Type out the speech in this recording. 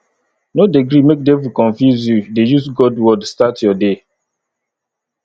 no dey gree make devil confuse you dey use god word start your day